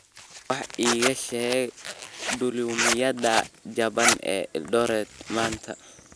wax iiga sheeg duulimaadyada jaban ee eldoret maanta